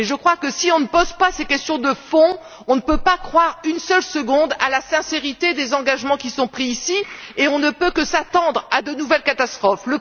Et je crois que, si nous ne posons pas ces questions de fond, nous ne pouvons pas croire une seule seconde à la sincérité des engagements qui sont pris ici et nous ne pouvons que nous attendre à de nouvelles catastrophes.